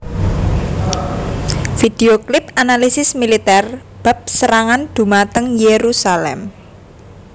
Video Clip Analisis Militer bab serangan dhumateng Jerusalem